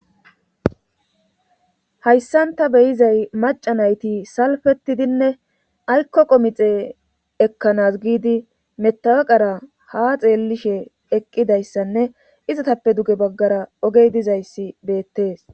hayssan ta beyizay maca nayti salfetidinne aykko qomixe ekkanas giidi metawaqara ha xeellishe eqqidayssanne izatappe duge baggara ogey dizayssi beettees